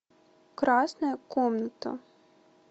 красная комната